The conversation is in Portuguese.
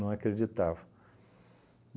Não acreditavam.